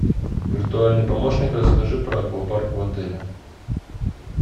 виртуальный помощник расскажи про аквапарк в отеле